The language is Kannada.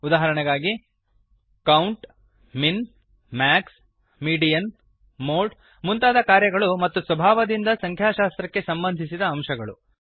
ಉದಾಹರಣೆಗಾಗಿ count min max median mode ಮುಂತಾದ ಕಾರ್ಯಗಳು ಮತ್ತು ಸ್ವಭಾವದಿಂದ ಸಂಖ್ಯಾಶಾಸ್ತ್ರಕ್ಕೆ ಸಂಬಂಧಿಸಿದ ಅಂಶಗಳು